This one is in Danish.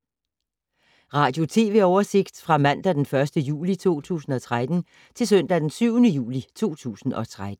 Radio/TV oversigt fra mandag d. 1. juli 2013 til søndag d. 7. juli 2013